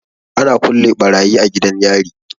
Ana kulle barayi a gidan yari.